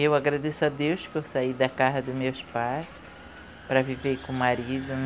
Eu agradeço a Deus por sair da casa dos meus pais para viver com o marido.